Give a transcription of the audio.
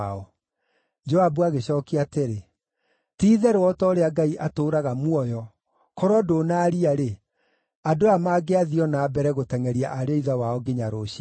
Joabu agĩcookia atĩrĩ, “Ti-itherũ o ta ũrĩa Ngai atũũraga muoyo, korwo ndũnaaria-rĩ, andũ aya mangĩathiĩ o na mbere gũtengʼeria ariũ a ithe wao nginya rũciinĩ.”